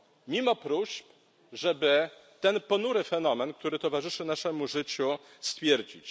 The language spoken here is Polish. Mimo próśb, żeby ten ponury fenomen, który towarzyszy naszemu życiu, stwierdzić.